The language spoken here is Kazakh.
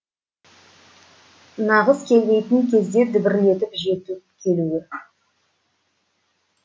нағыз келмейтін кезде дүбірлетіп жетіп келуі